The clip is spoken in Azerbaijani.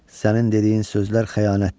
Sənin dediyin sözlər xəyanətdir.